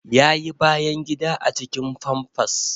Ya yi bayan gida a cikin famfas